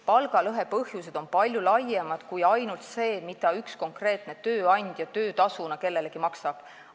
Palgalõhe põhjused on palju laiemad kui ainult see, mida üks konkreetne tööandja töötasuna kellelegi maksab.